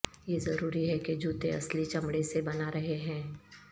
یہ ضروری ہے کہ جوتے اصلی چمڑے سے بنا رہے ہیں